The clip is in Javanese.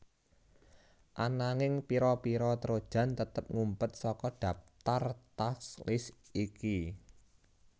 Ananging pira pira trojan tetep ngumpet saka dhaptar task list iki